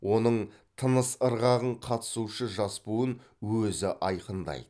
оның тыныс ырғағын қатысушы жас буын өзі айқындайды